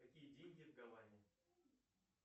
какие деньги в гаване